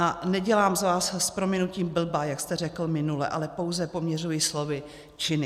A nedělám z vás, s prominutím blba, jak jste řekl minule, ale pouze poměřuji slovy činy.